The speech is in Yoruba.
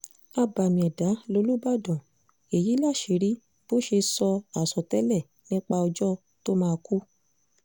abàmì ẹ̀dá lolúbádàn èyí láṣìírí bó ṣe sọ àsọtẹ́lẹ̀ nípa ọjọ́ tó máa kú